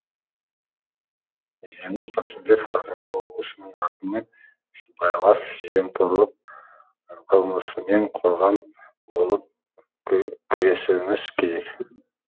жеңіс қасымбек қарағанды облысының әкімі сыбайлас жемқорлық қылмысымен қоғам болып күресуіміз керек